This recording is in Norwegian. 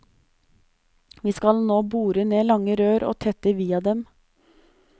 Vi skal nå bore ned lange rør og tette via dem.